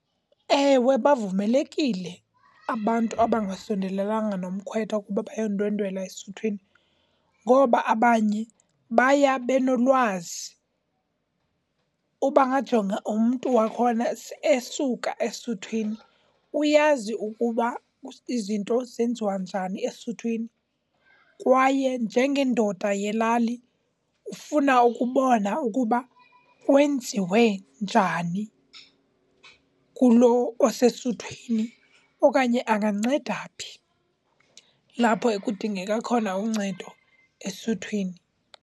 Ewe, bavumelekile abantu abangasondelelananga nomkhwetha ukuba bayo ndwendwela esuthwini ngoba abanye baya benolwazi. Uba ngajonga umntu wakhona esuka esuthwini, uyazi ukuba izinto zenziwa njani esuthwini. Kwaye njengendoda yelali ufuna ukubona ukuba kwenziwe njani kulo osesuthwini okanye anganceda phi lapho ekudingeka khona uncedo esuthwini.